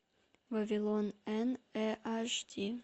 вавилон эн э аш ди